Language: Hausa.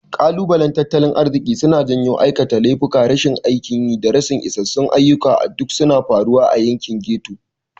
Kalubalen tattalin arziki suna janyo aikata laifuka, rashin aikin yi, da rashin isassun ayyuka duk suna faruwa a yankin ghetto.